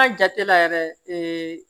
Ka jate la yɛrɛ ee